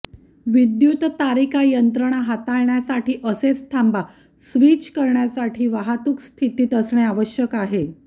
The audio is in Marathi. विद्युततारिका यंत्रणा हाताळण्यासाठी असेच थांबा स्विच करण्यासाठी वाहतूक स्थितीत असणे आवश्यक आहे